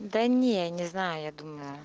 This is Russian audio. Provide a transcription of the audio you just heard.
да не не знаю я думаю